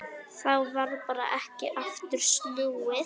Þá varð ekki aftur snúið.